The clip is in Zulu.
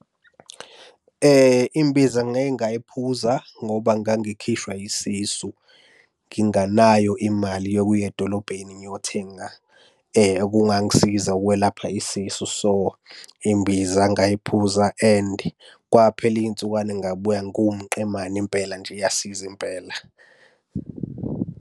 Imbiza ngake ngayiphuza ngoba ngangikhishwa yisisu nginganayo imali yokuya edolobheni ngiyothenga okungangisiza ukwelapha isisu. So, imbiza ngayiphuza and kwaphela iy'nsukwana ngabuya ngumqemane impela nje iyasiza impela.